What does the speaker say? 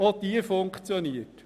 Auch sie funktioniert.